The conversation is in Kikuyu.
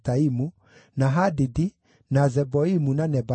na Hadidi, na Zeboimu na Nebalati,